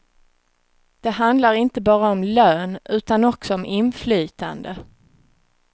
Det handlar inte bara om lön utan också om inflytande.